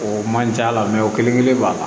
O man ca o kelen kelen b'a la